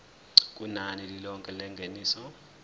kunani lilonke lengeniso